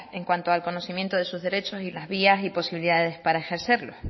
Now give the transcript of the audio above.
en cuanto al conocimiento de sus derechos y las vías y posibilidades para ejercerlo